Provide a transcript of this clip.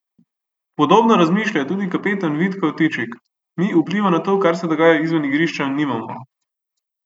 Podobno razmišlja tudi kapetan Vid Kavtičik: "Mi vpliva na to, kar se dogaja izven igrišča, nimamo.